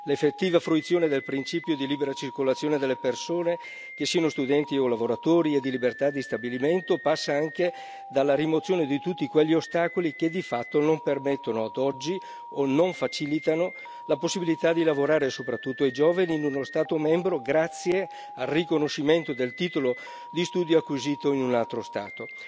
L'effettiva fruizione del principio di libera circolazione delle persone, che siano studenti o lavoratori, e di libertà di stabilimento passa anche dalla rimozione di tutti quegli ostacoli che, di fatto, non permettono ad oggi o non facilitano la possibilità di lavorare, soprattutto ai giovani, in uno Stato membro grazie al riconoscimento del titolo di studio acquisito in un altro Stato.